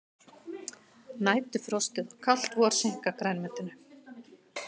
Næturfrostið og kalt vor seinka grænmetinu